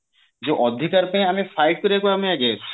ଯୋଉ ଅଧିକାର ପାଇଁ ଆମେ fight କରିବା କୁ ଆମେ ଆଗେଇ ଆସିଛୁ